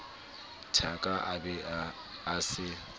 thaka a be a se